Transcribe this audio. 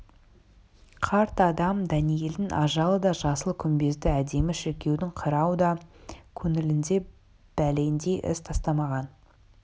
қарт адам дәниелдің ажалы да жасыл күмбезді әдемі шіркеудің қирауы да көңілінде бәлендей із тастамаған